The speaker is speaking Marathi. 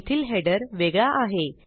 येथील हेडर वेगळा आहे